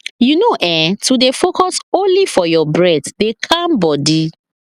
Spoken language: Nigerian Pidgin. you know[um]to dey focus only for your breath dey calm body